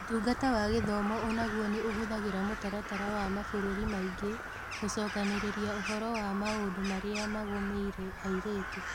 Ũtungata wa Gĩthomo o naguo nĩ ũhũthagĩra mũtaratara wa mabũrũri maingĩ gũcokanĩrĩria ũhoro wa maũndũ marĩa magũmĩire airĩtu.